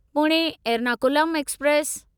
Pune Ernakulam express